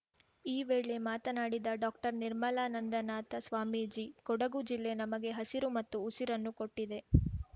ಈ ವೇಳೆ ಮಾತನಾಡಿದ ಡಾಕ್ಟರ್ನಿರ್ಮಲಾನಂದನಾಥ ಸ್ವಾಮೀಜಿ ಕೊಡಗು ಜಿಲ್ಲೆ ನಮಗೆ ಹಸಿರು ಮತ್ತು ಉಸಿರನ್ನು ಕೊಟ್ಟಿದೆ